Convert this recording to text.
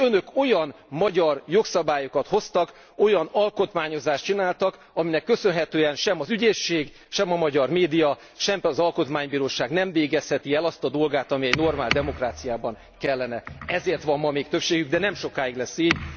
És Önök olyan magyar jogszabályokat hoztak, olyan alkotmányozást végeztek, amelynek köszönhetően sem az ügyészség, sem a magyar média, sem pedig az alkotmánybíróság nem végezheti el azt a dolgát, amelyet egy normál demokráciában kellene. Ezért van ma még többségük, de nem sokáig lesz így.